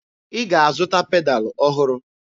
Ị ga-azụta pedalụ ọhụrụ!